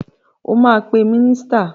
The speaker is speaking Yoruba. O máa pe mínísítà.